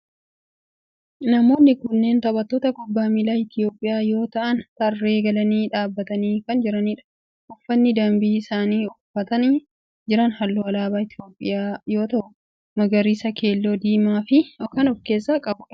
Namoonni kunneen taphattoota kubbaa miilaa Itiyoophiyaa yoo ta'aan tarree galanii dhaabbatanii kan jiranidha. uffanni dambii isaan uffatanii jiran halluu alaabaa Itiyoophiyaa yoo ta'u magariisa, keelloo fi diimaa kan of keessaa qabudha.